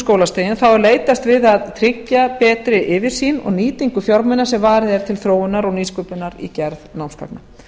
skólastigin þá er leitast við að tryggja betri yfirsýn og nýtingu fjármuna sem varið er til þróunar og nýsköpunar í gerð námsgagna